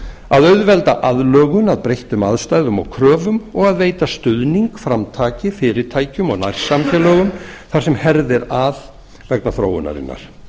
að auðvelda aðlögun að breyttum aðstæðum og kröfum og að veita stuðning framtaki og fyrirtækjum og nærsamfélögum þar sem herðir að vegna þróunarinnar